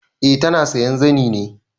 Eh ta na sayan zani ne.